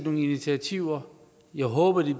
initiativer jeg håber at de